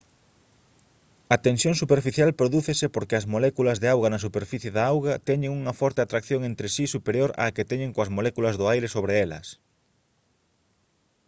a tensión superficial prodúcese porque as moléculas de auga na superficie da auga teñen unha forte atracción entre si superior á que teñen coas moléculas do aire sobre elas